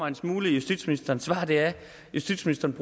en smule i justitsministerens svar er at justitsministeren